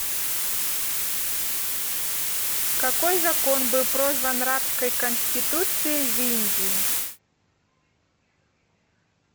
какой закон был прозван рабской конституцией в индии